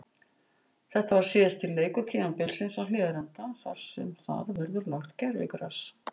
Þetta var síðasti leikur tímabilsins á Hlíðarenda þar sem þar verður lagt gervigras.